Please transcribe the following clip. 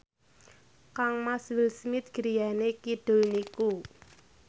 kangmas Will Smith griyane kidul niku